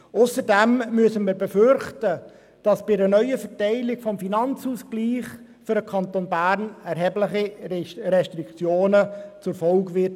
Zudem müssen wir befürchten, dass eine neue Verteilung aus dem Nationalen Finanzausgleich (NFA) für den Kanton Bern erhebliche Restriktionen zur Folge haben wird.